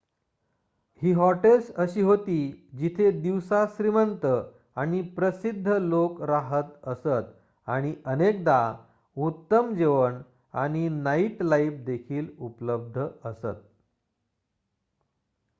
ही hotels अशी होती जिथे दिवसा श्रीमंत आणि प्रसिध्द लोक राहत असत आणि अनेकदा उत्तम जेवण आणि नाईटलाइफ देखील उपलब्ध असत